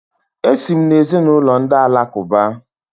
Esi m n’ezinụlọ ndị Alakụba.